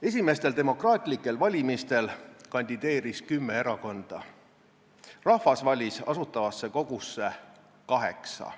Esimestel demokraatlikel valimistel kandideeris kümme erakonda, rahvas valis Asutavasse Kogusse kaheksa.